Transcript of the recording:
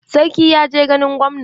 Sarki ya je ganin gwamna.